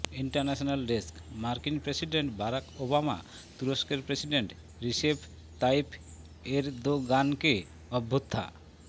international ডেস্কঃ মার্কিন president Barack Obama তুরস্কের প্রেসিডেন্ট রিসেপ তাইপ এরদোগানকে অভ্যুত্থা